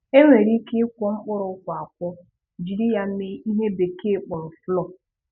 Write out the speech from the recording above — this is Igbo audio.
E nwere ike ị́kwọ mkpụrụ ụ́kwà akwọ jiri ya mee ihe bekee kpọrọ flour